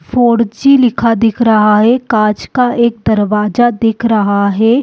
Four G लिखा दिख रहा है कांच का एक दरवाजा दिख रहा है।